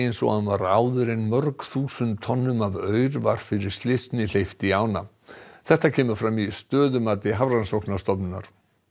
eins og hann var áður en mörg þúsund tonnum af aur var fyrir slysni hleypt í ána þetta kemur fram í stöðumati Hafrannsóknastofnunar